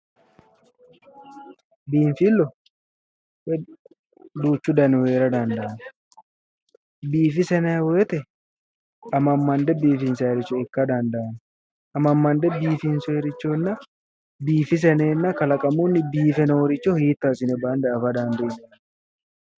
Biinfillu duuchu danihu heera dandaanno, biifisa yinayi wote ammammande bifinsayiiricho ikka dandanno. amammande biifinsooyiirichonna biifisa yineenna kalaqamunni biife nooricho hiitto assine bande afa dandiinanni.